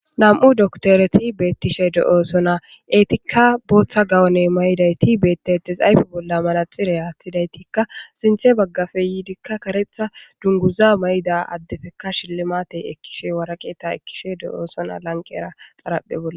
Nam'u doktereti beetishe de'osonna; eetika bootha gawunne mayidayti beetetees; ayfe bolla manaxire aththidaytika sinththe bagaape yiidika karetha dunguza mayida addetikka shilimate ekishe waraqeta ekkishe de'osonna lanqera xaraphe bolla.